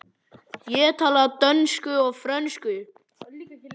Ég tala dönsku og frönsku.